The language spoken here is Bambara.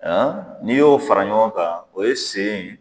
An n'i y'o fara ɲɔgɔn kan, o ye sen ye